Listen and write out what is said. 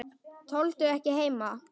Tolldu ekki heima.